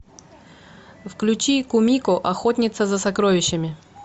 включи кумико охотница за сокровищами